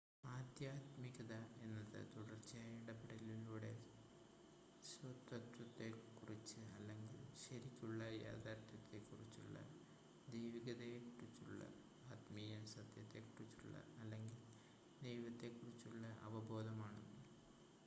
ആദ്ധ്യാത്മികത എന്നത് തുടർച്ചയായ ഇടപെടലിലൂടെ സ്വത്വത്തെക്കുറിച്ച് അല്ലെങ്കിൽ ശരിക്കുള്ള യഥാർത്ഥ്യത്തെക്കുറിച്ചുള്ള ദൈവീകതയെക്കുറിച്ചുള്ള ആത്മീയ സത്യത്തെക്കുറിച്ചുള്ള അല്ലെങ്കിൽ ദൈവത്തിനെക്കുറിച്ചുള്ള അവബോധമാണ്